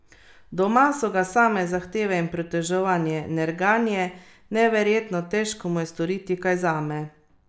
Doma so ga same zahteve in pritoževanje, nerganje, neverjetno težko mu je storiti kaj zame.